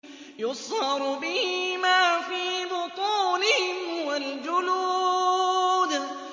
يُصْهَرُ بِهِ مَا فِي بُطُونِهِمْ وَالْجُلُودُ